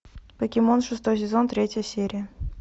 покемон шестой сезон третья серия